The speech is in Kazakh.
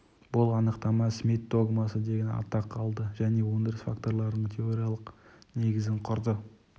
бұл анықтама смит догмасы деген атақ алды және өндіріс факторларының теориялық негізін құрды